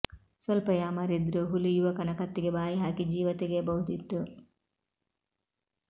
ಸ್ವಲ್ಪ ಯಾಮಾರಿದ್ದರೂ ಹುಲಿ ಯುವಕನ ಕತ್ತಿಗೆ ಬಾಯಿ ಹಾಕಿ ಜೀವ ತೆಗೆಯಬಹುದಿತ್ತು